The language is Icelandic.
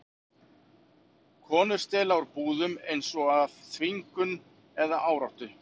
Konur stela úr búðum, eins og af þvingun eða áráttu.